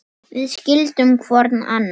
Við skildum hvor annan.